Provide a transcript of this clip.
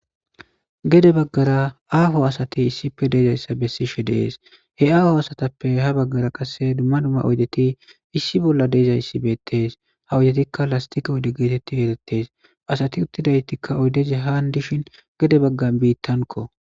Gede baggara aafo asati issife deezayssa bessishe dees he aafo asatappe ha baggara qasse dumma dumma oyddeti issi bolla deezayssi beettes ha odetikka lastika ode geetetti erettees asati uttidaytikka oydeze haan dishin gede baggan biittanko.